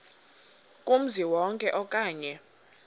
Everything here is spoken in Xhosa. kumzi wonke okanye